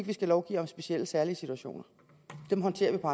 vi skal lovgive om specielle og særlige situationer dem håndterer vi på